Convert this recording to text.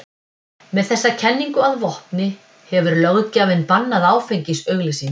Með þessa kenningu að vopni hefur löggjafinn bannað áfengisauglýsingar.